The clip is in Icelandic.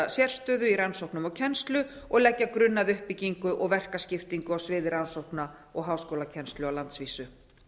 sérstöðu í rannsóknum og kennslu og leggja grunn að uppbyggingu og verkaskiptingu á sviði rannsókna og háskólakennslu á landsvísu